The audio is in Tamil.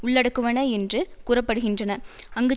உள்ளடக்குவன என்று கூற படுகின்றன அங்கு